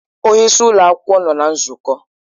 Onye isi ụlọ akwụkwọ nọ na nzukọ.